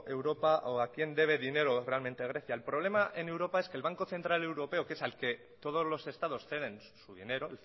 europa o a quién debe dinero realmente grecia el problema en europa es que el banco central europeo que es al que todos los estados ceden su dinero